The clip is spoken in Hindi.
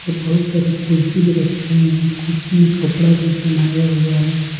और बहुत सारे कुर्सी भी रखे हुए हैं कुर्सी में कपड़ा भी पेन्हाया हुआ हैं।